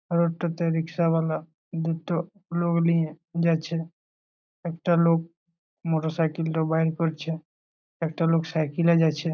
আর একটাতে রিকশায়ালা দুটো লোক লিয়ে যাছে একটা লোক মোটর সাইকেল টা বাঁহির করছে একটা লোক সাইকেল -এ যাছে।